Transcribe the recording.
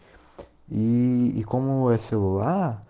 и новое село